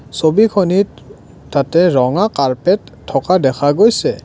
ছবিখনিত তাতে ৰঙা কাৰ্পেট থকা দেখা গৈছে।